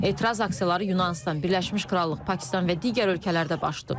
Etiraz aksiyaları Yunanıstan, Birləşmiş Krallıq, Pakistan və digər ölkələrdə başlayıb.